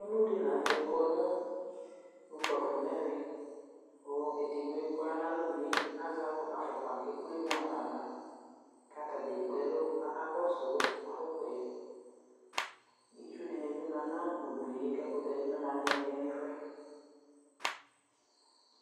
Emlodɩ la nʋtɛ kɔ nʋ ukpafo n'ɛvɛ , kʋ edigboe k'ɔya n'alonue azɛ akpo afɔkpa k'ekplemu ɣafava ; k'atadza ekpleɛlʋ k'aka kɔsʋ fotoe Itsudɩnɩ bɩ ma nʋ udue , k'ɛkʋtɛdɩnɩ bɩ ma n'ɩɩlɩ n'ɛfʋɛ